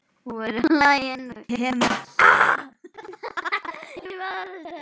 Kemur þetta mér við?